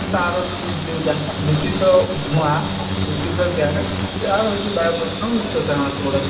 ତା'ର ଯୋଉ ଦୂଷିତ ଧୂଆଁ ଦୂଷିତ ଗ୍ୟାସ ତା' ହଉଛି ବାୟୂପ୍ରଦୂଷଣ ର ମୁଖ୍ୟ କାରଣ ସେଇଗୁଡ଼ା ସବୁ